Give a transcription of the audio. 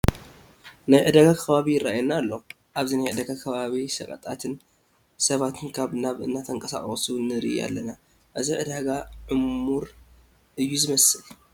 ናይ ዕዳጋ ከባቢ ይርአየና ኣሎ፡፡ ኣብዚ ናይ ዕዳጋ ከባቢ ሸቐጣትን ሰባትን ካብ ናብ እንትንቀሳቐሱ ንርኢ ኣለና፡፡ እዚ ዕዳጋ ዕሙር እዩ ዝመስል፡፡